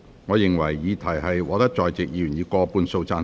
我認為議題獲得在席議員以過半數贊成。